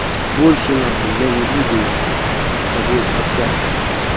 больше на хуй я не буду на хуй с тобой общаться